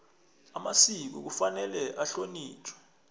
amasiko kufanele ahlonitjhwe